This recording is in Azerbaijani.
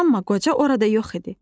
Amma qoca orada yox idi.